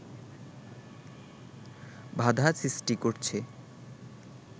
বাধা সৃষ্টি করছে